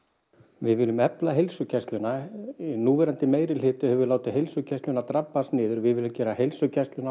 við viljum efla heilsugæsluna núverandi meirihluti hefur látið heilsugæsluna drabbast niður við viljum gera heilsugæsluna